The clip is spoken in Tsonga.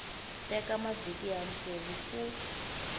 teka mavhiki ya ntsevu ku